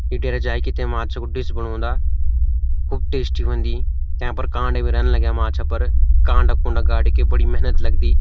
यि डेरा जैकि ते माछों को डिश बणोंदा खुब टेशटी ह्वोंदि यांपर कांडे भी रैन लग्याँ माछा पर कांडा कुंडा गाडीकी बड़ी मेहनत लगदी।